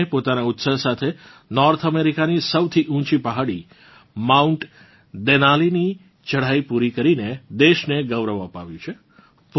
પૂર્ણાએ પોતાનાં ઉત્સાહ સાથે નોર્થ અમેરિકાની સૌથી ઊચી પહાડી માઉન્ટ દેનાલીની ચઢાઈ પૂરી કરીને દેશને ગૌરવ અપાવ્યું છે